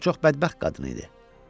O çox bədbəxt qadın idi.